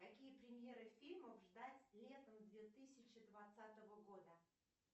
какие премьеры фильмов ждать летом две тысячи двадцатого года